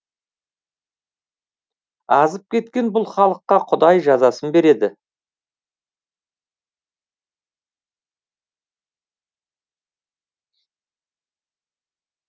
азып кеткен бұл халыққа құдай жазасын береді